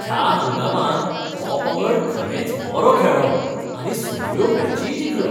ह्या हंगामांत हो पंगड खरेंच बरो खेळ्ळो आनी सगळ्यो मॅचीय जिखलो.